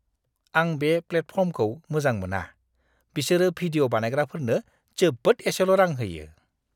आं बे प्लेटफर्मखौ मोजां मोना। बिसोरो भिडिअ' बानायग्राफोरनो जोबोद एसेल' रां होयो।